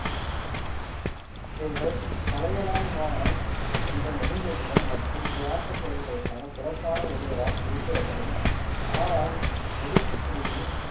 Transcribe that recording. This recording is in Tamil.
இவர்கள் தலையாலங்கானம் என்ற நெடுஞ்செழியன் மற்றும் தியாக செயல்களுக்கான சிறப்பான ஒருவராக குறிப்பிடப்படும் ஆரான் முதுகுடுமி